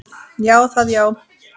Já, það já.